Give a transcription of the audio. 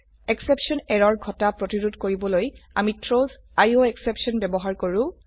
exception এৰৰ ঘটা প্ৰতিৰোধ কৰিবলৈ আমি থ্ৰাউছ আইঅএসচেপশ্যন ব্যবহাৰ কৰো